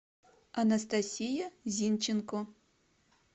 анастасия зинченко